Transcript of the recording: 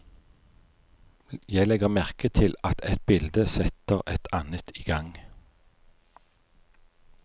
Jeg legger merke til at ett bilde setter et annet i gang.